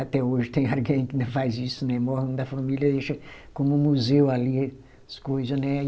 Até hoje tem alguém que ainda faz isso, né, morre um da família, deixa como um museu ali as coisas, né?